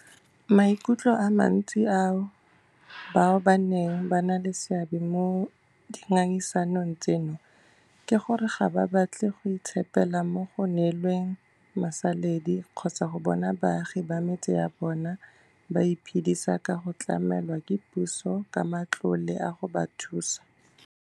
Maikutlo a mantsi a bao baneng ba na le seabe mo dingangisanong tseno ke gore ga ba batle go itshepela mo go neelweng masaledi kgotsa go bona baagi ba metse ya bona ba iphedisa ka go tlamelwa ke puso ka matlole a go ba thusa.